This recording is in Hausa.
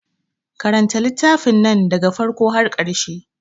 Karanta littafin nan da ga farko har ƙarshe.